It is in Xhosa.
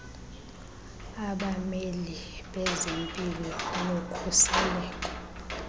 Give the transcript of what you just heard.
abameli bezempilo nokhuseleko